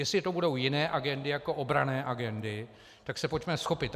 Jestli to budou jiné agendy jako obranné agendy, tak se pojďme vzchopit.